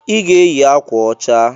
I ga-eyi akwa ọcha!